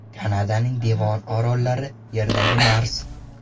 Kanadaning Devon orollari: Yerdagi Mars.